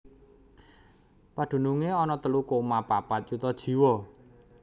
Padunungé ana telu koma papat yuta jiwa